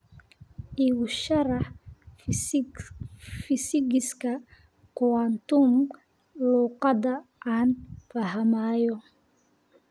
iigu sharax fiisigiska quantum luqadda aan fahmayo